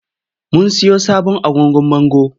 Mun siyo sabon agogon bango.